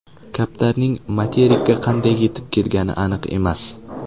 Kaptarning materikka qanday yetib kelgani aniq emas.